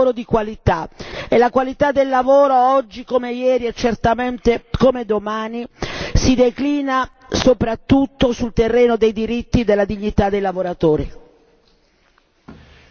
Lavoro dunque, ma lavoro di qualità, e la qualità del lavoro, oggi come ieri e certamente come domani, si declina soprattutto sul terreno dei diritti e della dignità dei lavoratori.